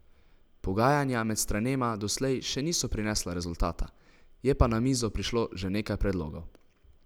Pogajanja med stranema doslej še niso prinesla rezultata, je pa na mizo prišlo že nekaj predlogov.